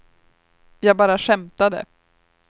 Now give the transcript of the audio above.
jag bara skämtade